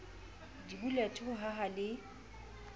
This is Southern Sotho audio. di billiard ho haha le